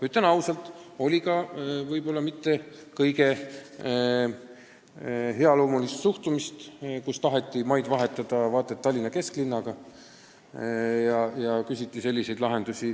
Ütlen ausalt, et on olnud ka mitte kõige arusaavamat suhtumist: on tahetud maad vahetada vaata et Tallinna kesklinna krundiga ja küsitud muid selliseid lahendusi.